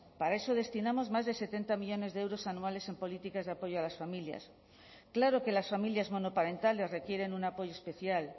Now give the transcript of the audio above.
para eso destinamos más de setenta millónes de euros anuales en políticas de apoyo a las familias claro que las familias monoparentales requieren un apoyo especial